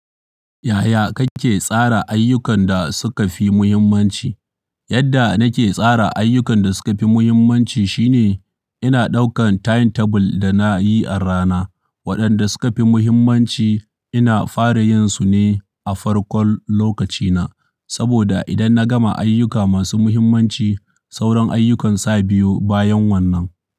Yaya kake tsara ayyukan da suka fi muhimmanci? Yadda nake tsara ayyukan da suka fi muhimmanci shine ina ɗaukan timetable da na yi a rana. Waɗanda suka fi muhimmanci ina fara yin su ne a farkon lokacina. Saboda idan na gama ayyuka masu muhimmanci, sauran ayyukan sa biyo bayan wannan.